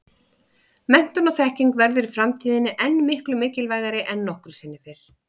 Menntun og þekking verður í framtíðinni enn miklu mikilvægari en nokkru sinni fyrr.